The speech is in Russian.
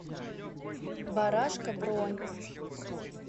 барашка бронь